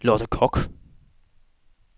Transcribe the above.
Lotte Koch